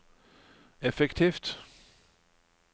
effektivt